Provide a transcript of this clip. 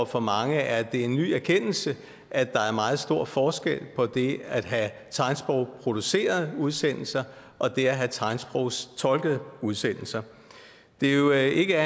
for mange er en ny erkendelse at der er meget stor forskel på det at have tegnsprogsproducerede udsendelser og det at have tegnsprogstolkede udsendelser det er jo ikke